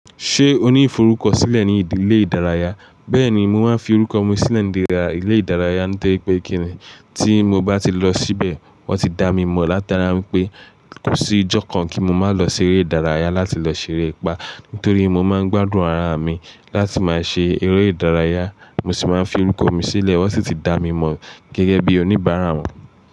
Ṣé o ní ìforúkọ sílẹ̀ ní ìdílé ìdárayá? Bẹ́ẹ̀ni, mo máa ń fi orúkọ mi sílẹ̀ ní ìlé ìdárayá, nítorí pé kíni tí mo bá ti lọ síbẹ̀, wọ́n ti dá mi mọ̀ látara pé kò sí ìjọ kan kí mo máa lọ ṣeré ìdárayá láti lọ ṣeré pa. Nítorí mo máa ń gbádùn ara mi láti máa ṣe eré ìdárayá, mo sì máa ń fi orúkọ mi sílẹ̀, wọ́n sì ti dá mi mọ̀ gẹ́gẹ́ bí oníbàárà wọn.